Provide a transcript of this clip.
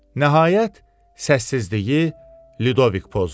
Nəhayət, səssizliyi Ludovik pozdu.